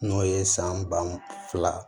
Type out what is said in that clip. N'o ye san ba fila